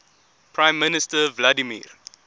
prime minister vladimir